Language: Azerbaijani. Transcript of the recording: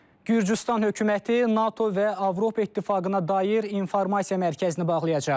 Gürcüstan hökuməti NATO və Avropa İttifaqına dair informasiya mərkəzini bağlayacaq.